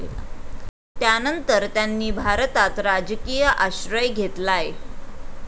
त्यानंतर त्यांनी भारतात राजकीय आश्रय घेतलाय.